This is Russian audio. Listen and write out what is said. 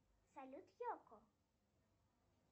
салют йоко